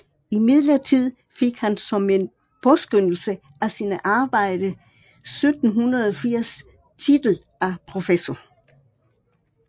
Imidlertid fik han som en påskønnelse af sine arbejder 1780 titel af professor